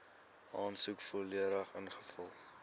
aansoek volledig ingevul